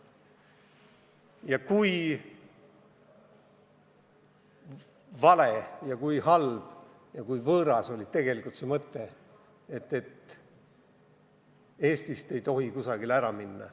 Ja kui vale ja kui halb ja kui võõras oli tegelikult see mõte, et Eestist ei tohi kusagile ära minna.